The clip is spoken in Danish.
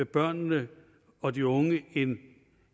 børnene og de unge en